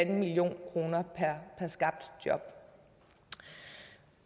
million kroner per skabt job